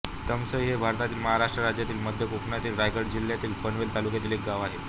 तामसई हे भारतातील महाराष्ट्र राज्यातील मध्य कोकणातील रायगड जिल्ह्यातील पनवेल तालुक्यातील एक गाव आहे